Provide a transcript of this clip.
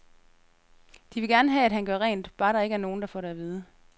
De vil gerne have, at han gør rent, bare der ikke er nogen, der får det at vide.